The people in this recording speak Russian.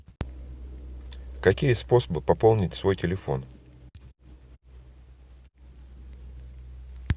какие способы пополнить свой телефон